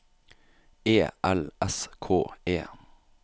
E L S K E